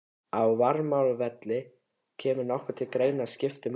Á Varmárvelli Kemur nokkuð til greina að skipta leiknum?